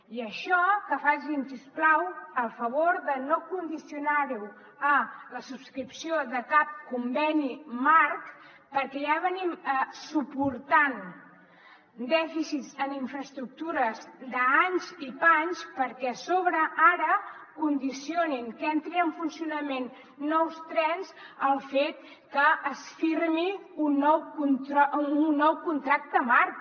i això que facin si us plau el favor de no condicionar ho a la subscripció de cap conveni marc perquè ja suportem dèficits en infraestructures d’anys i panys perquè a sobre ara condicionin que entrin en funcionament nous trens al fet que es firmi un nou contracte marc